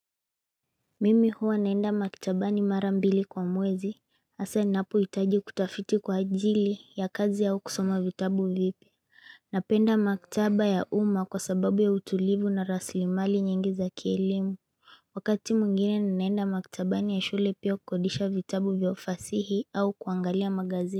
Mimi huwa naenda maktaba ni marambili kwa mwezi hasa inapoitaji kutafiti kwa ajili ya kazi au kusoma vitabu vipya Napenda maktaba ya uma kwa sababu ya utulivu na raslimali nyingi za kielimu Wakati mwingine naenda maktaba ni ya shule pia kukodisha vitabu viofasihi au kuangalia magazini.